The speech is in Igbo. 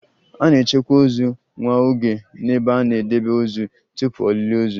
A na-echekwa ozu nwa oge n'ebe a na-edebe ozu tupu olili ozu